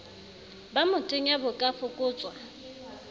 ba motenya bo ka fokotswa